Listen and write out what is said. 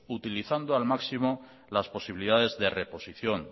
utilizando al máximo las posibilidades de reposición